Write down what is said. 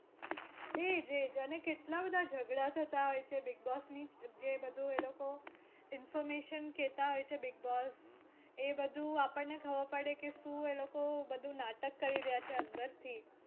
એ જ એ જ અને કેટલા બધા ઝગડા થતાં હોય છે બિગબોસ ની જે બધુ એ લોકો information કેતા હોય છે બિગબોસ એ બધું આપણને ખબર પડે કે શું એ લોકો બધુ નાટક કરી રહ્યા છે અંદર થી.